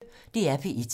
DR P1